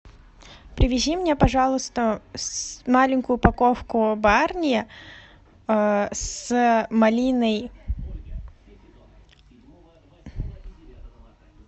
привези мне пожалуйста маленькую упаковку барни с малиной